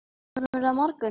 Kemurðu á morgun?